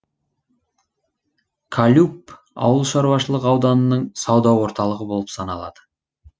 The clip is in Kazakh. кальюб ауылшаруашылық ауданының сауда орталығы болып саналады